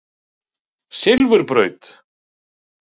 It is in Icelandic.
Silfurbraut